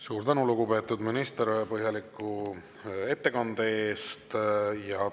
Suur tänu, lugupeetud minister, põhjaliku ettekande eest!